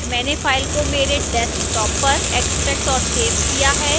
मैंने file को मेरे desktop पर extracted और सेव किया है